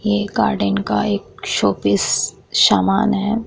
ये गार्डन का एक शो पीस समान है ।